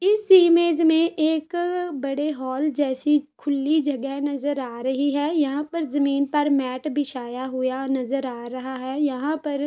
इस इमेज में एक बड़े हॉल जैसी खुल्ली जगह नज़र आ रही है यहाँ पर जमीन पर मैट बिछाया हुआ नज़र आ रही है यहाँ पर --